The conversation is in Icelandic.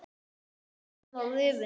Úlpan var rifin.